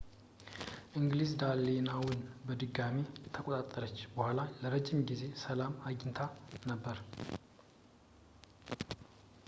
እንግሊዝ ዳኔላውን በድጋሚ ከተቆጣጠረች በኋላ የረጅም ጊዜ ሰላም አግኝታ ነበር